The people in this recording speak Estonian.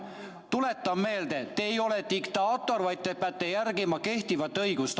Tuletan meelde: te ei ole diktaator, vaid te peate järgima kehtivat õigust.